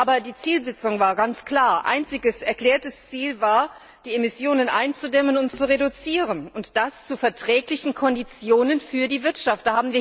Aber die Zielsetzung war ganz klar Einziges erklärtes Ziel war, die Emissionen einzudämmen und zu reduzieren, und das zu verträglichen Konditionen für die Wirtschaft.